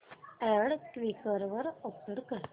add Quikr वर upload कर